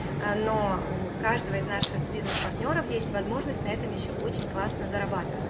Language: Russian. но у каждого из наших бизнес партнёров есть возможность на этом ещё очень классно зарабатывать